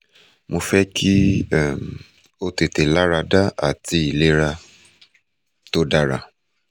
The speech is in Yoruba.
mo fẹ ki um o tete larada ati ilera to dara